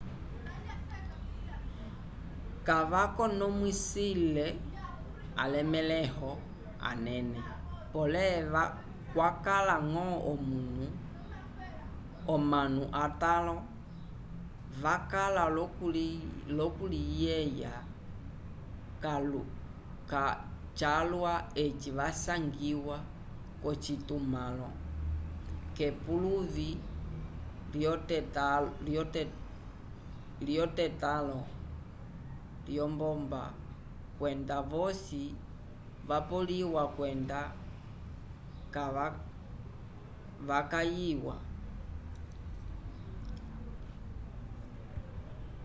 kavakonomwisile alemẽho anene pole kwakala ñgo omanu atãlo vakala l'okuliyeya calwa eci vasangiwa k'ocitumãlo k'epuluvi lyetotãlo lyombomba kwenda vosi vapoleliwa kwenda vakayiwa